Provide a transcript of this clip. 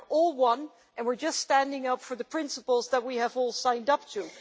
We are all one, and we are just standing up for the principles that we have all signed up to.